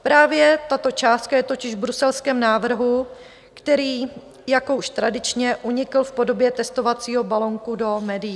Právě tato částka je totiž v bruselském návrhu, který - jako už tradičně - unikl v podobě testovacího balonku do médií.